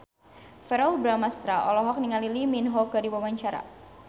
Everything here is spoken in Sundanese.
Verrell Bramastra olohok ningali Lee Min Ho keur diwawancara